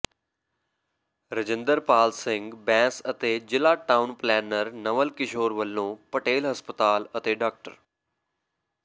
ਰਜਿੰਦਰਪਾਲ ਸਿੰਘ ਬੈਂਸ ਅਤੇ ਜ਼ਿਲ੍ਹਾ town planner Naval Kishore ਵੱਲੋਂ ਪਟੇਲ ਹਸਪਤਾਲ ਅਤੇ ਡਾ